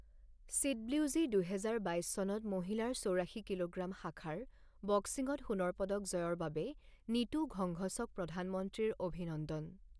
CWG দুহেজাৰ বাইছ চনত মহিলাৰ চৌৰাশী কিলোগ্ৰাম শাখাৰ বক্সিংত সোণৰ পদক জয়ৰ বাবে নীতু ঘংঘছক প্ৰধানমন্ত্ৰীৰ অভিনন্দন